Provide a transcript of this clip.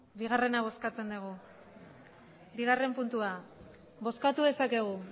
bigarrena bozkatzen dugu bigarrena puntua bozkatu dezakegu